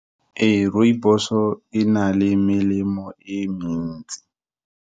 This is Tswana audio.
Ee, rooibos-o, e na le melemo e mentsi.